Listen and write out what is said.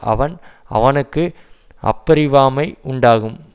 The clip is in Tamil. அவன் அவனுக்கு அப்பிரவாமை உண்டாகும்